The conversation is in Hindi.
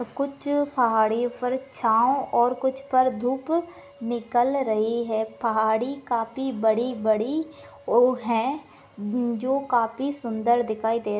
कुछ पहाड़ी पर छाव और कुछ पर धूप निकाल रही है पहाड़ी कफी बड़ी बड़ी वो है जो काफी सुंदर दिखाए दे--